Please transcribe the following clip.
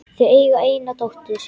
Þau eiga eina dóttur.